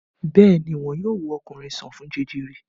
Bẹ́ẹ̀ ni, wọn yóò wo ọkùnrin sàn fún jẹjẹrẹ.